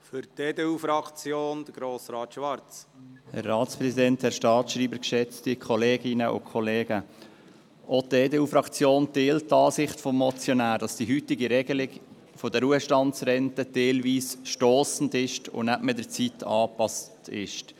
Auch die EDU-Fraktion teilt die Ansicht des Motionärs, wonach die heutige Regelung der Ruhestandsrenten teilweise stossend und nicht mehr zeitgemäss ist.